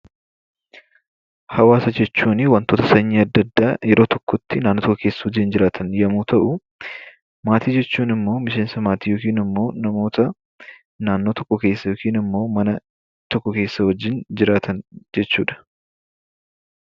Hawaasa jechuun wantoota sanyii adda addaa yeroo tokkotti naannoo tokko keessa jiraatan yemmuu ta'u, maatii jechuun ammoo miseensa maatii yookaan namoota naannoo tokko keessa yookin ammoo mana tokko keessa wajjin jiraatan jechuudha.